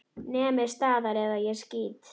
Nemið staðar eða ég skýt!